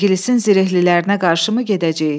İngilisin zirehlilərinə qarşı mı gedəcəyik?